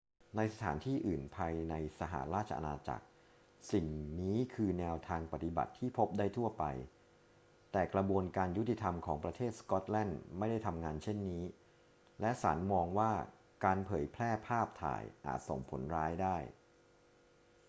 ในสถานที่อื่นภายในสหราชอาณาจักร สิ่งนี้คือแนวทางปฏิบัติที่พบได้ทั่วไป แต่กระบวนการยุติธรรมของประเทศสก็อตแลนด์ไม่ได้ทำงานเช่นนี้ และศาลมองว่าการเผยแพร่ภาพถ่ายอาจส่งผลร้ายได้